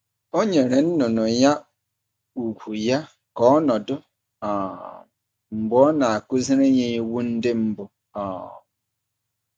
Ọ nyere nnụnụ ya ugwu ya ka ọ nọdụ um mgbe ọ na-akụziri ya iwu ndị mbụ. um